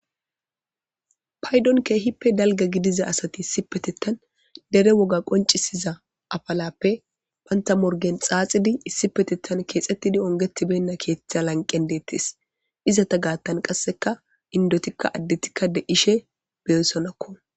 Paydo kehippe dalga gidiza asati deretetha qonciza afalafe banta morgen xaxidi issippetethan kexetidi ongetibeyna ketha lanqen detes izeta lanqen qaseka indetika adetika de'ishey beyosonako